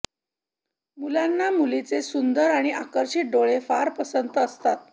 मुलांना मुलींचे सुंदर आणि आकर्षित डोळे फार पसंत असतात